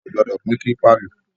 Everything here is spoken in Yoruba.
A ò gbọ́dọ̀ pín kílípà lò